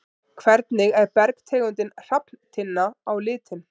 Hvernig er bergtegundin hrafntinna á litinn?